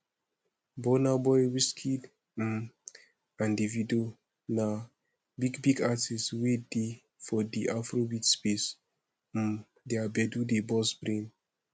burnaboy wizkid um and davido na big big artiste wey dey for di afrobeat space um their gbedu dey burst brain